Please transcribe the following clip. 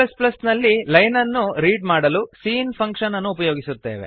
C ನಲ್ಲಿ line ಅನ್ನು read ಮಾಡಲು ಸಿಇನ್ ಫಂಕ್ಷನ್ ಅನ್ನು ಉಪಯೋಗಿಸುತ್ತೇವೆ